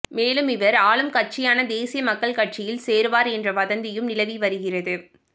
மேலும் இவர் ஆளும்கட்சியான தேசிய மக்கள் கட்சியில் சேருவார் என்ற வதந்தியும் நிலவி வருகிறது